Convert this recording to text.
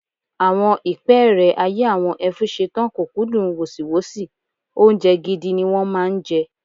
Àwọn ìpẹ́ẹ́rẹ́ ayé àwọn Ẹfúnṣetán kò kúndùn wọ̀sìwọ́sì, oúnjẹ gidi ni wọ́n máa ń jẹ.